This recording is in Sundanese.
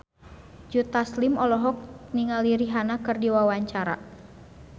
Joe Taslim olohok ningali Rihanna keur diwawancara